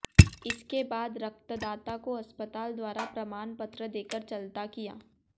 इसके बाद रक्तदाता को अस्तपाल द्वारा प्रमाण पत्र देकर चलता किया